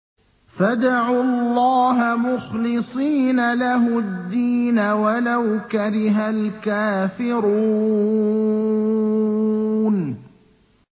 فَادْعُوا اللَّهَ مُخْلِصِينَ لَهُ الدِّينَ وَلَوْ كَرِهَ الْكَافِرُونَ